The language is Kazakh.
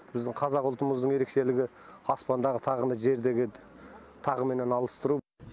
біздің қазақ ұлтымыздың ерекшелігі аспандағы тағыны жердегі тағыменен алыстыру